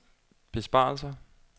besparelser